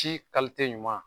Ci ɲuman.